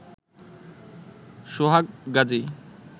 Sohag Gazi